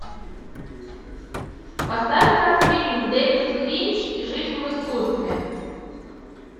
поставь ка фильм дэвид линч жизнь в искусстве